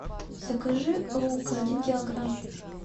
закажи лук один килограмм